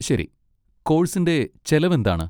ശരി! കോഴ്സിന്റെ ചെലവ് എന്താണ്?